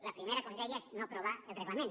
la primera com deia és no aprovar el reglament